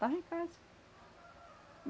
Estava em casa.